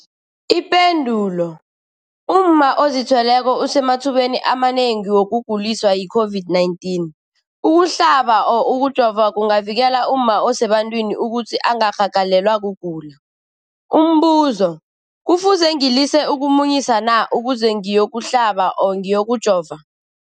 Ipendulo, umma ozithweleko usemathubeni amanengi wokuguliswa yi-COVID-19. Ukuhlaba, ukujova kungavikela umma osebantwini ukuthi angarhagalelwa kugula. Umbuzo, kufuze ngilise ukumunyisa na ukuze ngiyokuhlaba, ngiyokujova?